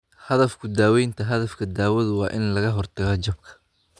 Hadafka daawaynta Hadafka daawadu waa in laga hortago jabka.